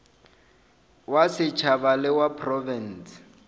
wa setšhaba le wa profense